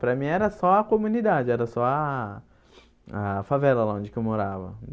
Para mim, era só a comunidade, era só a a favela lá onde que eu morava.